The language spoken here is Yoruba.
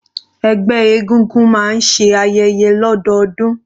Ẹgbẹ́ egúngún máa ń ṣe ayẹyẹ lọdọọdun.